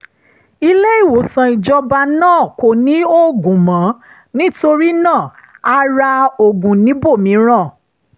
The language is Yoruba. ilé-ìwòsàn ìjọba náà kò ní oògùn mọ́ nítorí náà a ra oògùn níbòmíràn